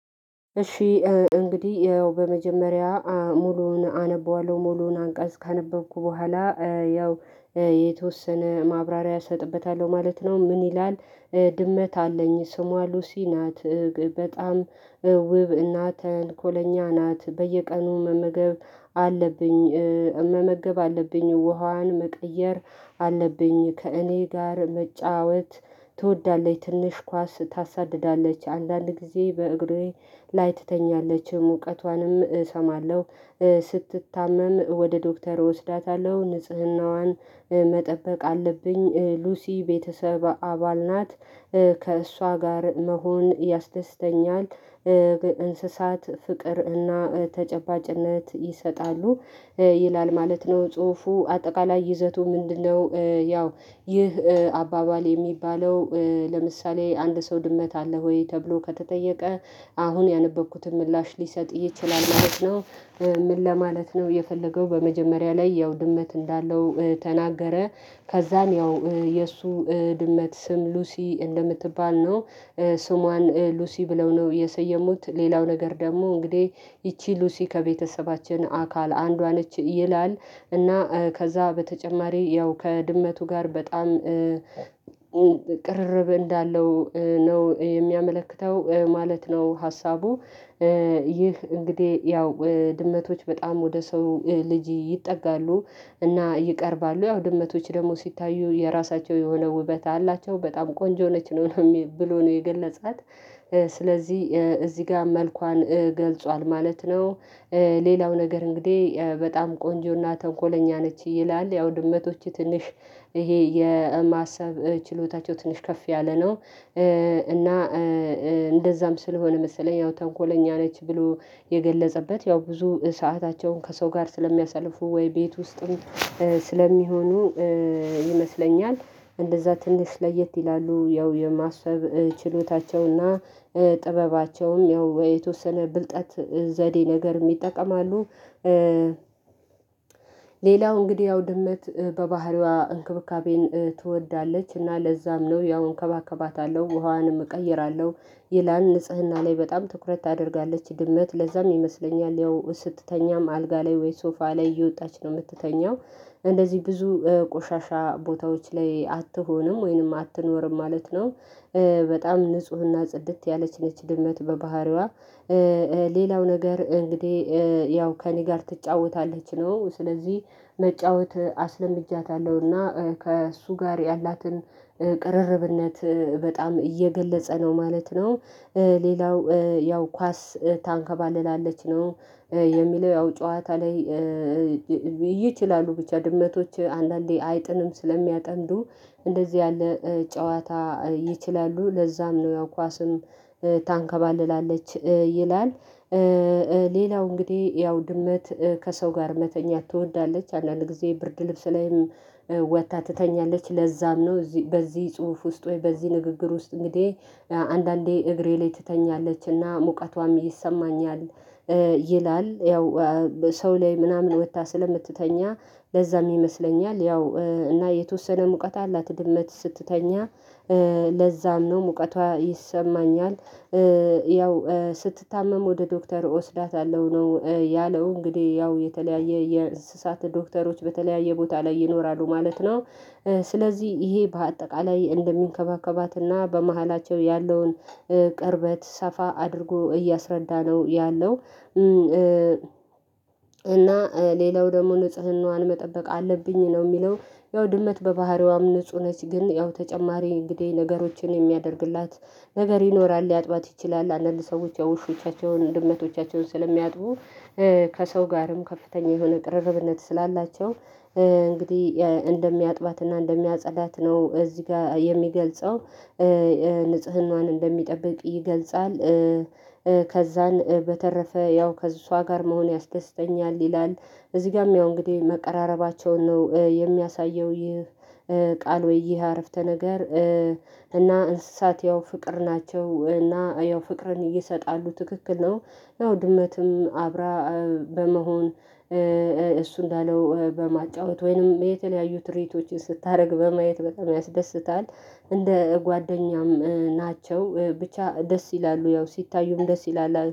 እሺ እንግዲህ በመጀመሪያ ሙሉውን አነበዋለሁ ሙሉውን አንቀጽ ካነበብኩ በኋላ ያው የተወሰነ ማብራሪያ እሰጥበታለሁ ማለት ነው። ምን ይላል? ድመት አለኝ ስሟ ሉሲ ናት። በጣም ውብ እና ተንኮለኛ ናት በየቀኑ መመገብ አለብኝ። መመገብ አለብኝ ውሃዋን መቀየር አለብኝ ከእኔ ጋር መጫወት ትወዳለች ትንሽ ኳስ ታሳድዳለች አንዳንድ ጊዜ በእግሬ ላይ ትተኛለች ሙቀቷንም እሰማለሁ። ስትታመም ወደ ዶክተር እወስዳታለሁ ንጽህናዋን መጠበቅ አለብኝ ሉሲ ቤተሰብ አባል ናት። ከእሷ ጋር መሆን ያስደስተኛል። እንስሳት ፍቅርና ተጨባጭነት ይሰጣሉ ይላል ማለት ነው። ጽሁፉ አጠቃላይ ይዘቱ ምንድነው? ያው ይህ አባባል የሚባለው ለምሳሌ አንድ ሰው ድመት አለ ወይ ተብሎ ከተጠየቀ አሁን ያነበብኩትን ምላሽ ሊሰጥ ይችላል ማለት ነው። ምን ለማለት ነው የፈለገው በመጀመሪያ ላይ ያው ድመት እንዳለው ተናገረ ከዛን ያው የእሱ ድመት ስም ሉሲ እንደምትባል ነው። ስሟን ሉሲ ብለው ነው የሰየሙት ሌላው ነገር ደግሞ እንግዲህ ይቺ ሉሲ ከቤተሰባችን አካል አንዷ ነች ይላል። እና ከዛ በተጨማሪ ያው ከድመቱ ጋር በጣም ቅርርብ እንዳለው ነው የሚያመለክተው ማለት ነው። ሀሳቡ ይህ እንግዲህ ያው ድመቶች በጣም ወደ ሰው ልጅ ይጠጋሉ እና ይቀርባሉ ያው ድመቶች ደግሞ ሲታዩ የራሳቸው የሆነ ውበት አላቸው በጣም ቆንጆ ነች ነው ብሎ ነው የገለጻት። ስለዚህ እዚህ ጋር መልኳን ገልጿል ማለት ነው። ሌላው ነገር እንግዲህ በጣም ቆንጆና ተንኮለኛ ነች ይላል ያው ድመቶች ትንሽ ይሄ የማሰብ ችሎታቸው ትንሽ ከፍ ያለ ነው። እና እንደዛም ስለሆነ መሰለኝ ያው ተንኮለኛ ነች ብሎ የገለጸበት ያው ብዙ ሰአታቸውን ከሰው ጋር ስለሚያሳልፉ ወይ ቤት ውስጥም ስለሚሆኑ ይመስለኛል እንደዛ ትንሽ ለየት ይላሉ ያው የማሰብ ችሎታቸውና ጥበባቸውም ያው የተወሰነ ብልጠት ዘዴ ነገርም ይጠቀማሉ። ሌላው እንግዲህ ያው ድምት በባህሪዋ እንክብካቤን ትወዳለች እና ለዛም ነው ያው እንከባከባታለሁ ውሃዋንም እቀይራለሁ። ይላል ንጽህና ላይ በጣም ትኩረት ታደርጋለች ድመት ለዛም ይመስለኛል ያው ስትተኛም አልጋ ላይ ወይ ሶፋ ላይ እየወጣች ነው የምትተኛው እንደዚህ ብዙ ቆሻሻ ቦታዎች ላይ አትሆንም ወይንም አትኖርም ማለት ነው። በጣም ንፁህና ጽድት ያለችነች ድመት በባህሪዋ ሌላው ነገር እንግዲህ ያው ከእኔ ጋር ትጫወታለች ነው ስለዚህ መጫወት አስለምጃታለሁና ከእሱ ጋር ያላትን ቅርርብነት በጣም እየገለጸ ነው ማለት ነው። ሌላው ያው ኳስ ታንከባልላለች ነው የሚለው ያው ጨዋታ ላይ ይችላሉ ብቻ ድመቶች አንዳንዴ አይጥንም ስለሚያጠምዱ እንደዚህ ያለ ጨዋታ ይችላሉ ለዛም ነው ያው ኳስም ታንከባልላለች ይላል። ሌላው እንግዲህ ያው ድመት ከሰው ጋር መተኛት ትወዳለች አንዳንድ ጊዜ ብርድ ልብስ ላይም ወጥታ ትተኛለች ለዛም ነው በዚህ ጽሁፍ ውስጥ ወይ በዚህ ንግግር ውስጥ እንግዲህ አንዳንዴ እግሬ ላይ ትተኛለች እና ሙቀቷም ይሰማኛል። ይላል ያው ሰው ላይ ምናምን ወጥታ ስለምትተኛ ለዛም ይመስለኛል ያው እና የተወሰነ ሙቀት አላት ድመት ስትተኛ ለዛም ነው ሙቀቷ ይሰማኛል። ያው ስትታመም ወደ ዶክተር እወስዳታለሁ ነው ያለው እንግዲህ ያው የተለያየ የእስሳት ዶክተሮች በተለያየ ቦታ ላይ ይኖራሉ ማለት ነው። ስለዚህ ይሄ በአጠቃላይ እንደሚንከባከባትና በመካከላቸው ያለውን ቅርበት ሰፋ አድርጎ እያስረዳ ነው ያለው። እና ሌላው ደግሞ ንጽህናዋን መጠበቅ አለብኝ ነው የሚለው ያው ድመት በባህሪዋም ንጹህ ነች ግን ያው ተጨማሪ እንግዲህ ነገሮችን የሚያደርግላት ነገር ይኖራል ሊያጥባት ይችላል አንዳንድ ሰዎች የውሾቻቸውን ድመቶቻቸውን ስለሚያጥቡ ከሰው ጋርም ከፍተኛ የሆነ ቅርርብነት ስላላቸው እንግዲህ እንደሚያጥባትና እንደሚያጸዳት ነው እዚህ ጋር የሚገልጸው ንጽህናዋን እንደሚጠብቅ ይገልጻል። ከዛን በተረፈ ያው ከእሷ ጋር መሆን ያስደስተኛል ይላል። እዚህ ጋርም ያው እንግዲህ መቀራረባቸውን ነው የሚያሳየው ይህ ቃል ወይ ይህ አረፍተ ነገር እና እንስሳት ያው ፍቅር ናቸው እና ያው ፍቅርን እይሰጣሉ ትክክል ነው ያው ድመትም አብራ በመሆን እሱ እንዳለው በማጫወት ወይንም የተለያዩ ትርኢቶችን ስታደርግ በማየት በጣም ያስደስታል። እንደ ጓደኛም ናቸው ብቻ ደስ ይላሉ ያው ሲታዩም ደስ ይላሉ